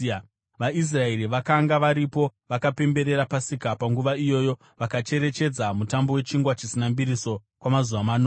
VaIsraeri vakanga varipo vakapemberera Pasika panguva iyoyo vakacherechedza Mutambo weChingwa Chisina Mbiriso kwamazuva manomwe.